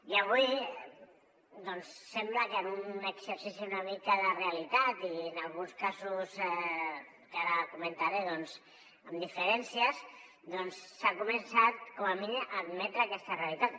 i avui doncs sembla que en un exercici una mica de realitat i en alguns casos que ara comentaré doncs amb diferències s’ha començat com a mínim a admetre aquesta realitat